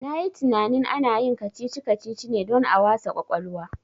Na yi tinanin ana yin kacici kacici ne don a wasa kwakwalwa